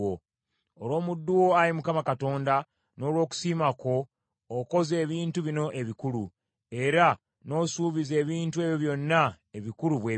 Olw’omuddu wo Ayi Mukama Katonda, n’olw’okusiima kwo, okoze ebintu bino ebikulu, era n’osuubiza ebintu ebyo byonna ebikulu bwe bityo.